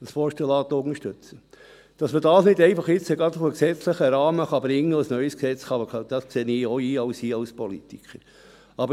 Dass man das jetzt nicht einfach in einen gesetzlichen Rahmen bringen und ein neues Gesetz machen kann, sehe ich als Politiker auch ein.